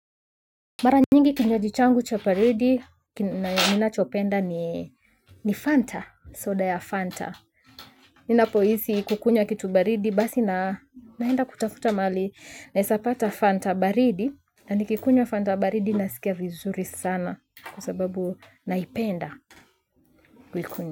Mara nyingi kinywaji changu cha baridi, ninachopenda ni Fanta, soda ya Fanta. Ninapo hisi kukunywa kitu baridi basi na naenda kutafuta mahali na wezapata Fanta baridi. Na nikikunywa Fanta baridi nasikia vizuri sana kwa sababu naipenda kuikunywa.